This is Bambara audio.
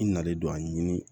I nalen don a ɲini